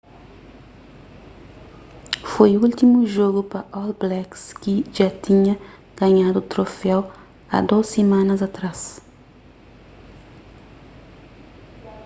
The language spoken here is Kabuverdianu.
foi últimu jogu pa all blacks ki dja tinha ganhadu troféu a dôs simanas atrás